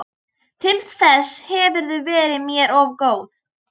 Til þess hefurðu verið mér of góð.